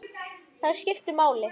Þær skiptu máli.